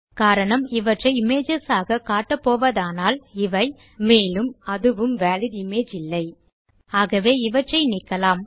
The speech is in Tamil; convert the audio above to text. காரணம் இவற்றை இமேஜஸ் ஆக காட்டப் போவதானால் இவை மேலும் அதுவும் வாலிட் இமேஜ் இல்லை ஆகவே இவற்றை நீக்கலாம்